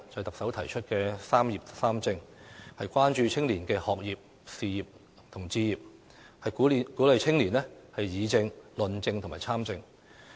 特首提出"三業三政"，關注青年的學業、事業及置業，並鼓勵青年議政、論政及參政。